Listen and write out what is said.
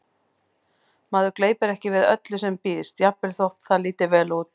Maður gleypir ekki við öllu sem býðst, jafnvel þótt það líti vel út